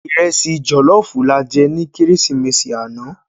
Irèsi jòlòfú làjè ni Kérésimési ànâ